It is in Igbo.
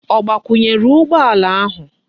O gbakwunyere ugbo ala ahu?